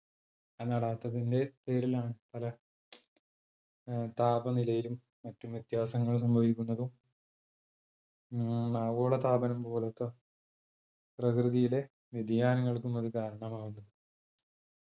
ആ നടാത്തതിന്റെ പേരിലാണ് പല അഹ് താപനിലയിലും മറ്റും വ്യത്യാസങ്ങൾ സംഭവിക്കുന്നതും മ്മ് ആഗോളതാപനം പോലോത്ത പ്രകൃതിയിലെ വ്യതിയാനങ്ങൾക്കും ഒരു കാരണമാവുന്നത്